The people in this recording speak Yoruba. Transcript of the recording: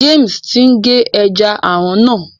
James tí n ge ẹja aràn náà.